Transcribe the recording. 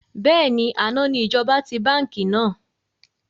Bẹ́ẹ̀ni, àná ni ìjọba ti báńkì náà.